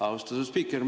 Austatud spiiker!